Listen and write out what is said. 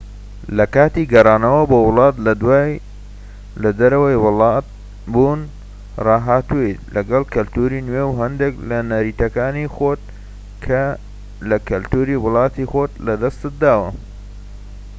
لە کاتی گەڕانەوە بۆ وڵات لە دوای لە دەرەوەی وڵات بوون ڕاهاتوویت لەگەڵ کەلتوری نوێ و هەندێک لە نەریتەکانی خۆت لە کەلتوری وڵاتی خۆت لە دەستداوە